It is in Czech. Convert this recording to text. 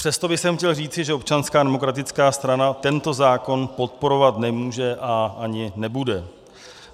Přesto bych chtěl říci, že Občanská demokratická strana tento zákon podporovat nemůže a ani nebude.